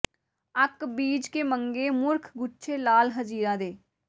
ਅੱਕ ਬੀਜ ਕੇ ਮੰਗੇ ਮੂਰਖ ਗੁੱਛੇ ਲਾਲ ਹਜੀਰਾਂ ਦੇ